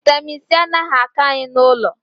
vitamin c anaghị ako Anyị n'ụlọ